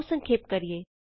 ਆਉ ਸੰਖੇਪ ਕਰੀਏ